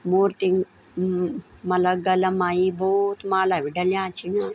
मूर्तिम म मला गला मा इ भौत माला भी डल्याँ छिन।